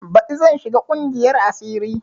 Baɗi zan shiga ƙungiyar asiri